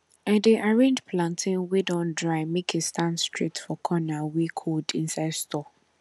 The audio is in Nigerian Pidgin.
i dey arrange plantain wey don dry make e stand straight for corner wey cold inside store